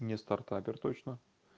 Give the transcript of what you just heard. не стартапер точно